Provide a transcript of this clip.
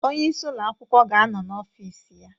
Onye isi ụlọ akwụkwọ ga-anọ n'ọfis ya